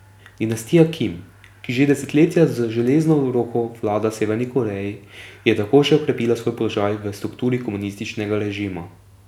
Dinastija Kim, ki že desetletja z železno roko vlada Severni Koreji, je tako še okrepila svoj položaj v strukturi komunističnega režima.